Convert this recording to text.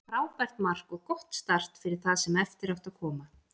Frábært mark og gott start fyrir það sem eftir átti að koma.